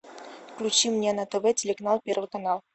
включи мне на тв телеканал первый канал